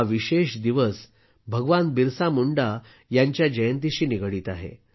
हा विशेष दिवस भगवान बिरसा मुंडा यांच्या जयंतीशी निगडीत आहे